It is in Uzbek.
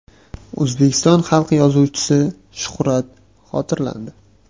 O‘zbekiston xalq yozuvchisi Shuhrat xotirlandi.